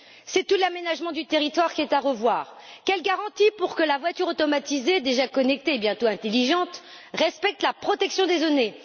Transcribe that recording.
C'est tout l'aménagement du territoire qui est à revoir. Quelles garanties pour que la voiture automatisée, déjà connectée et bientôt intelligente, respecte la protection des données?